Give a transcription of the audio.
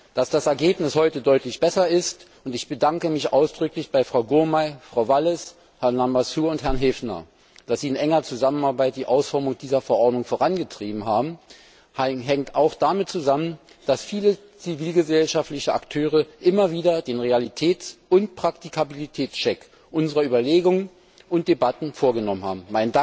Dass das Ergebnis heute deutlich besser ist und ich bedanke mich ausdrücklich bei Frau Gurmai, Frau Wallis, Herrn Lamassoure und Herrn Häfner dafür, dass sie in enger Zusammenarbeit die Ausformung dieser Verordnung vorangetrieben haben hängt auch damit zusammen, dass viele zivilgesellschaftliche Akteure immer wieder den Realitäts und Praktikabilitätscheck unserer Überlegungen und Debatten vorgenommen haben.